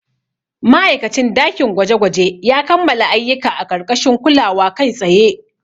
Ma'aikacin dakin gwaje-gwaje ya kammala ayyuka a ƙarƙashin kulawa kai tsaye.